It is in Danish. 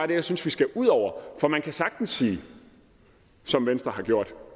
det jeg synes vi skal ud over for man kan sagtens sige som venstre har gjort